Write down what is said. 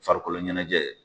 Farikolo ɲɛnajɛ.